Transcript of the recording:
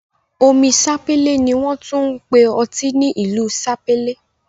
Omi Sapele ni won tun npe ni oti ni ilu Sapele